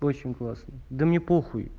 очень классно да мне похуй